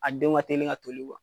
An denw ka telin ka toli